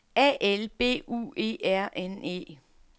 A L B U E R N E